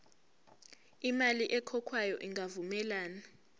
imali ekhokhwayo ingavumelani